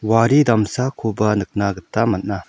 wari damsakoba nikna gita man·a.